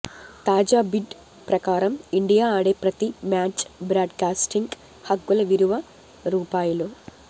తాజా బిడ్ ప్రకారం ఇండియా ఆడే ప్రతి మ్యాచ్ బ్రాడ్కాస్టింగ్ హక్కుల విలువ రూ